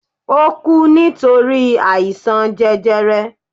O ku nitori àìsàn jẹjẹrẹ